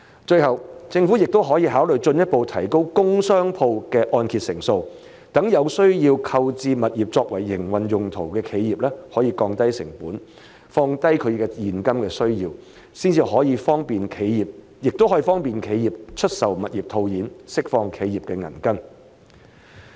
最後，政府也可考慮進一步提高工商鋪的按揭成數，讓有需要購置物業作為營運用途的企業可降低成本，降低其現金需要，亦可方便企業出售物業套現，釋放企業的銀根。